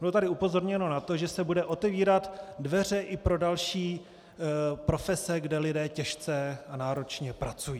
Bylo tady upozorněno na to, že se budou otevírat dveře i pro další profese, kde lidé těžce a náročně pracují.